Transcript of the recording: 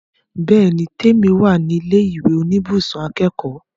Bẹ́ẹ̀ni l, Tèmi wà ní ilé ìwé oníbùsùn akẹ́kọ̀ọ́